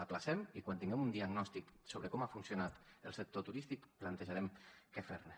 l’ajornem i quan tinguem un diagnòstic sobre com ha funcionat el sector turístic plantejarem què fer ne